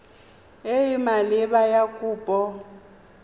e e maleba ya kopo